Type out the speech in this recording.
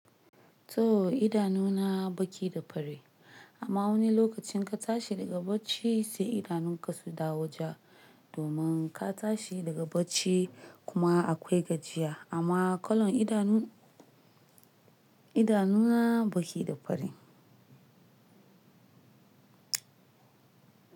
Toh, idanu na baki da fari, amma wani lokacin in ka tashi daga bacci, sai idanun ka su dawo ja, domin ka tashi daga bacci kuma, akwai gajiya, amma kalan idanu, idanu na baki da fari.